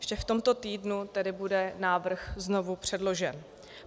Ještě v tomto týdnu tedy bude návrh znovu předložen.